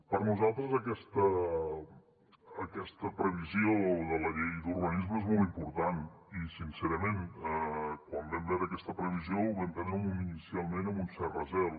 per nosaltres aquesta previsió de la llei d’urbanisme és molt important i sincerament quan vam veure aquesta previsió ho vam prendre inicialment amb un cert recel